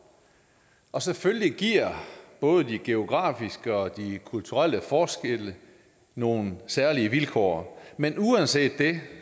og selvfølgelig giver både de geografiske og de kulturelle forskelle nogle særlige vilkår men uanset det